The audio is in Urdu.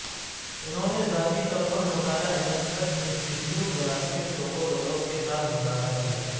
انہوں نے ذاتی طور پر مطالعہ انیسٹرس انسٹی ٹیوٹر ولادیمیر سوکولولوف کے ساتھ مطالعہ کیا